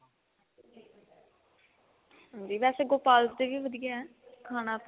ਵੇਸੇ ਗੋਪਾਲ ਦਾ ਵੀ ਵਧੀਆ ਖਾਣ ਤਾਂ